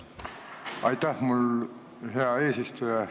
Aitäh, hea eesistuja!